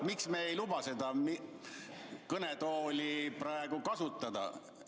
Miks me ei luba kõnetooli praegu kasutada?